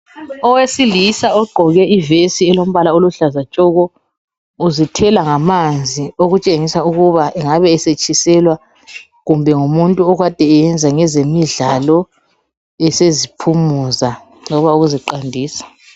Owesilisa ogqoke ivesi elombala oluhlaza tshoko uzithela ngamanzi okutshengisa ukuthi angabe esetshiselwa kumbe ngumuntu akade eyesenza ezemidlalo eseziphumuza loba ukuziqandisa.